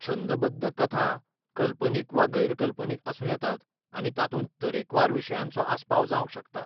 छंदबद्द कथा कल्पनीक वा गैरकल्पनीक आसूं येता आनी तातूंत तरेकवार विशयांचो आस्पाव जावंक शकता.